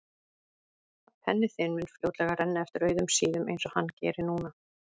Að penni þinn mun fljótlega renna eftir auðum síðum einsog hann gerir núna.